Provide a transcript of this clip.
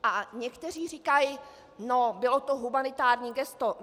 A někteří říkají - no, bylo to humanitární gesto.